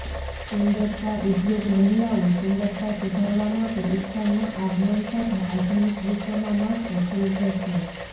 સુંદરતા ઉદ્યોગ મહિલાઓ સુંદરતા સુધારવા માટે ઇચ્છા ના આગમન સાથે આધુનિક વિશ્વમાં માત્ર તીવ્ર છે